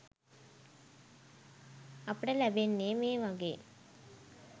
අපට ලැබෙන්නේ මේ වගේ